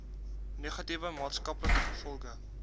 negatiewe maatskaplike gevolge